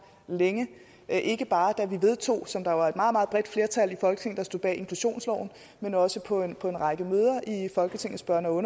længe ikke bare da vi vedtog inklusionsloven som der var et meget meget bredt flertal i folketinget der stod bag men også på en række møder i folketingets børne og